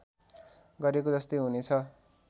गरेको जस्तै हुने छ